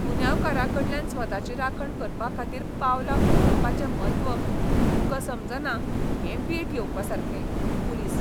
गुन्यांवकारांकडल्यान स्वताची राखण करपाखातीर पावलां उखलपाचें म्हत्व तुकां समजना हें वीट येवपासारकें. पुलीस